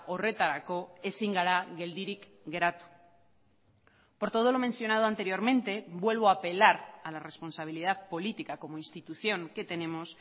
horretarako ezin gara geldirik geratu por todo lo mencionado anteriormente vuelvo a apelar a la responsabilidad política como institución que tenemos